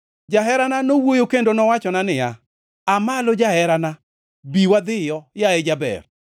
Jaherana nowuoyo kendo nowachona niya, “Aa malo jaherana, bi wadhiyo, yaye jaber.